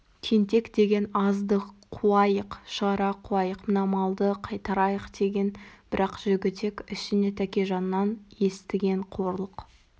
тентек деген азды қуайық шығара қуайық мына малды қайтарайық деген бірақ жігітек ішіне тәкежаннан естіген қорлық